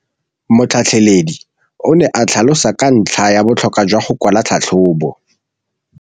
Motlhatlheledi o ne a tlhalosa ka ntlha ya botlhokwa jwa go kwala tlhatlhôbô.